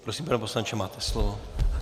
Prosím, pane poslanče, máte slovo.